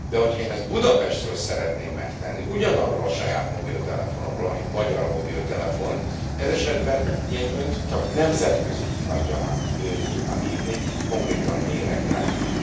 De hogyha én ezt Budapestről szeretném megtenni, ugyanarról a saját mobiltelefonomról, ami magyar mobiltelefon, ez esetben én Önt csak nemzetközi hívás gyanánt tudnám hívni, konkrétan méregdrágán.